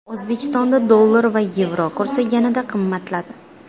O‘zbekistonda dollar va yevro kursi yana qimmatladi.